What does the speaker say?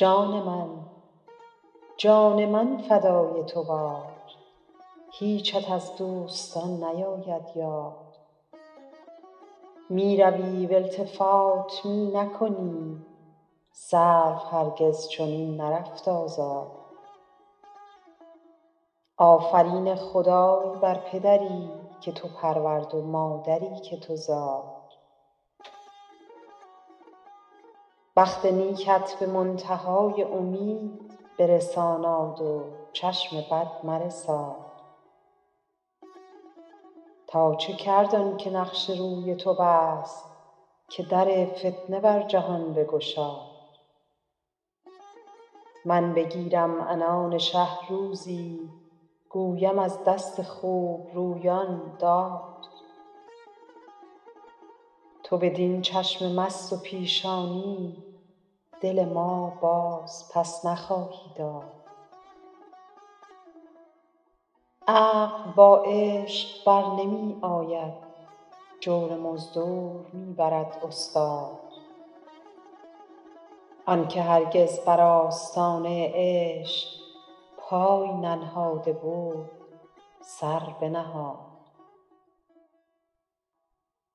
جان من جان من فدای تو باد هیچت از دوستان نیاید یاد می روی و التفات می نکنی سرو هرگز چنین نرفت آزاد آفرین خدای بر پدری که تو پرورد و مادری که تو زاد بخت نیکت به منتها ی امید برساناد و چشم بد مرساد تا چه کرد آن که نقش روی تو بست که در فتنه بر جهان بگشاد من بگیرم عنان شه روزی گویم از دست خوبرویان داد تو بدین چشم مست و پیشانی دل ما بازپس نخواهی داد عقل با عشق بر نمی آید جور مزدور می برد استاد آن که هرگز بر آستانه عشق پای ننهاده بود سر بنهاد